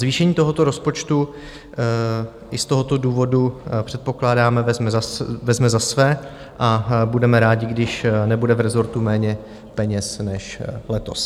Zvýšení tohoto rozpočtu i z tohoto důvodu předpokládáme vezme za své a budeme rádi, když nebude v rezortu méně peněz než letos.